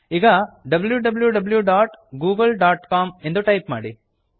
ಈಗ wwwgooglecom W W W dot Google dot com ಎಂದು type ಮಾಡಿ